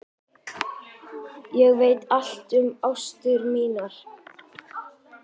Ég veit allt um ástir mínar.